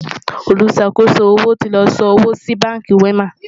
oluṣàkoso owó tí ló sàn owó sí bánkì wema